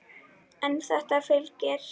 En þetta fylgir.